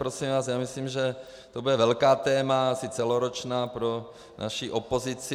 Prosím, vás, já myslím, že to bude velké téma, asi celoroční, pro naši opozici.